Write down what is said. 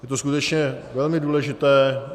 Je to skutečně velmi důležité.